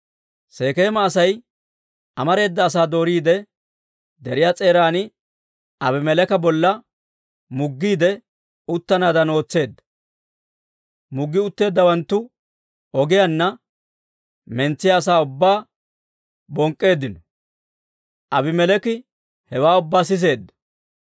Sekeema Asay amareeda asaa dooriide, deriyaa s'eeran Abimeleeka bolla muggiide uttanaadan ootseedda. Muggi utteeddawanttu ogiyaanna mentsiyaa asaa ubbaa bonk'k'eeddino; Aabimeleeki hewaa ubbaa siseedda.